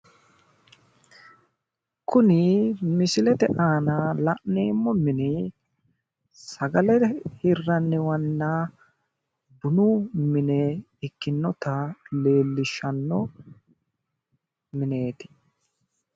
Kuni misilete aana la'nemmo mini sagale hirranniwanna bunu mine ikkinota leellishshanno mineeti.